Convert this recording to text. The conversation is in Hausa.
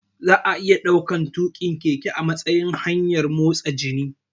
Za'a iya ɗaukan tuƙin keke a matsayin hanyar motsa jiki